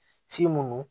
mun